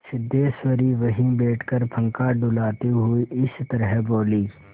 सिद्धेश्वरी वहीं बैठकर पंखा डुलाती हुई इस तरह बोली